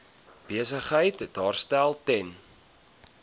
besigheid daarstel ten